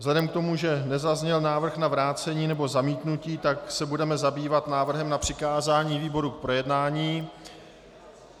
Vzhledem k tomu, že nezazněl návrh na vrácení nebo zamítnutí, tak se budeme zabývat návrhem na přikázání výboru k projednání.